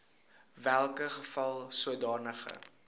welke geval sodanige